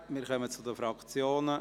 Wir kommen zu den Fraktionssprechern.